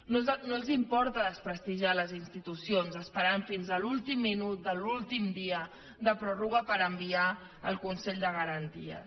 no els importa desprestigiar les institucions esperant fins a l’últim minut de l’últim dia de pròrroga per enviar ho al consell de garanties